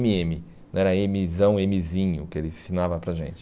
eme eme, não era emezão, emezinho, que ele ensinava para a gente.